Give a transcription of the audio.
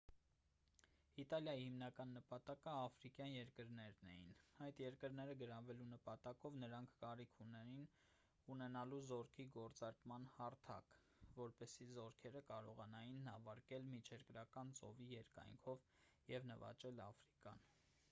իտալիայի հիմնական նպատակը աֆրիկյան երկրներն էին այդ երկրները գրավելու նպատակով նրանք կարիք ունեին ունենալու զորքի գործարկման հարթակ որպեսզի զորքերը կարողանային նավարկել միջերկրական ծովի երկայնքով և նվաճել աֆրիկան